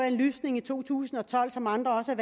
en lysning i to tusind og tolv som andre også har